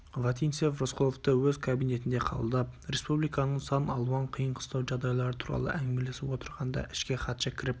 вотинцев рысқұловты өз кабинетінде қабылдап республиканың сан алуан қиын-қыстау жағдайлары туралы әңгімелесіп отырғанда ішке хатшы кіріп